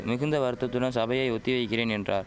மிகுந்த வருத்தத்துடன் சபையை ஒத்தி வைக்கிறேன் என்றார்